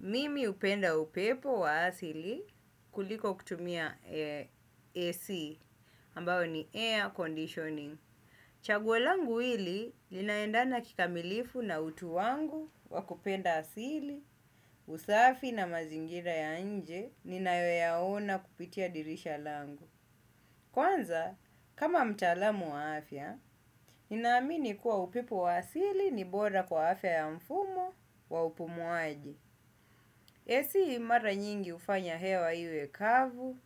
Mimi upenda upepo wa asili kuliko kutumia AC ambayo ni air conditioning. Chaguo langu hili linaendana kikamilifu na utu wangu wa kupenda asili usafi na mazingira ya inje ninayoyaona kupitia dirisha langu. Kwanza, kama mtaalamu wa afya, nina amini kuwa upepo wa asili ni bora kwa afya ya mfumo wa upumuaji. AC mara nyingi ufanya hewa iwe kavu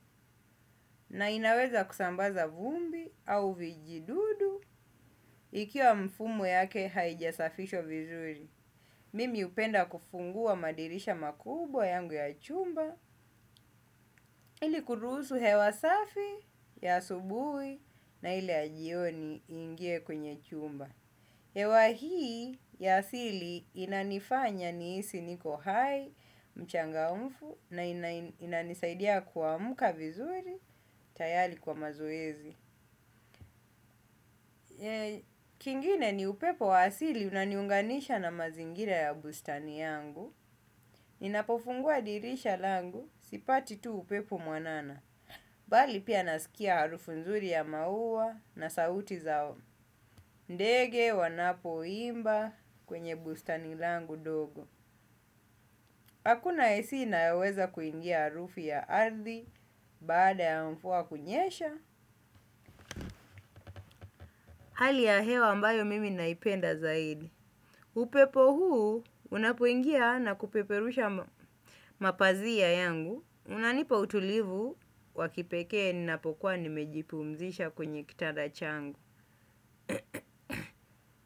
na inaweza kusambaza vumbi au vijidudu ikiwa mfumu yake haijasafishwa vizuri. Mimi upenda kufungua madirisha makubwa yangu ya chumba ili kurusu hewa safi ya asubui na ile ya jioni ingie kwenye chumba. Ewa hii ya asili inanifanya niisi niko hai, mchangamfu na inanisaidia kuamuka vizuri, tayari kwa mazoezi. Kingine ni upepo wa asili unaniunganisha na mazingira ya bustani yangu. Ninapofungua dirisha langu sipati tu upepo mwanana. Bali pia nasikia harufu nzuri ya mauwa na sauti zao. Ndege wanapo imba kwenye bustani langu dogo. Hakuna AC inayoweza kuingia harufu ya ardhi baada ya mvua kunyesha. Hali ya hewa ambayo mimi naipenda zaidi. Upepo huu unapoingia na kupeperusha mapazia yangu. Unanipa utulivu wa kipekee ninapokuwa nimejipumzisha kwenye kitanda changu.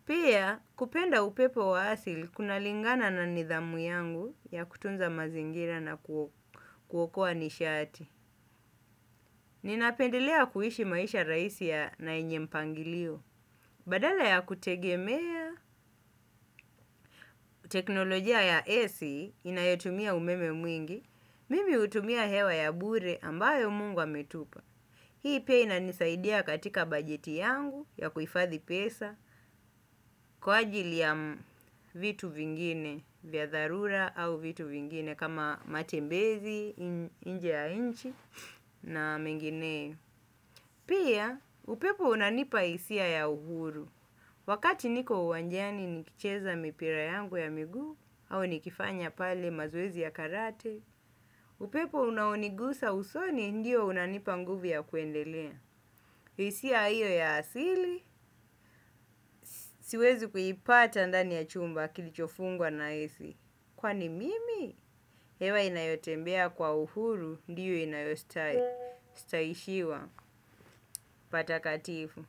Pia kupenda upepo wa asili kuna lingana na nidhamu yangu ya kutunza mazingira na kuokua nishati. Ninapendelea kuishi maisha raisi ya na yenye mpangilio. Badala ya kutegemea teknolojia ya AC inayotumia umeme mwingi, mimi utumia hewa ya bure ambayo Mungu ametupa. Hii pia inanisaidia katika bajeti yangu ya kuifadhi pesa kwa ajili ya vitu vingine vya tharura au vitu vingine kama matembezi, inje ya inchi na mengineyo. Pia upepo unanipa isia ya uhuru. Wakati niko uwanjani nikicheza mipira yangu ya miguu au nikifanya pale mazoezi ya karate, upepo unanigusa usoni ndio unanipa nguvu ya kuendelea. Isia iyo ya asili siwezi kuipata ndani ya chumba kilichofungwa na AC. Kwani mimi hewa inayotembea kwa uhuru ndiyo inayostai. Sitaishiwa patakatifu.